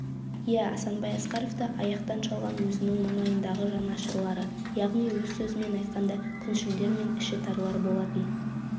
иә асанбай асқаровты аяқтан шалған өзінің маңайындағы жанашырлары яғни өз сөзімен айтқанда күншілдер мен ішітарлар болатын